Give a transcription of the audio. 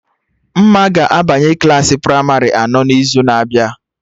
Mma ga-abanye Klassị pramarị anọ n'izu na-abịa